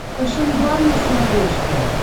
фэшен ван на смотрешке